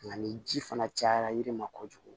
Nka ni ji fana cayara yirima kojugu